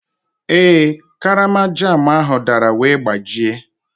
Ee, karama jam ahụ dara wee gbajie.